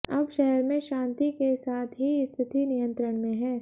अब शहर में शांति के साथ ही स्थिति नियंत्रण में है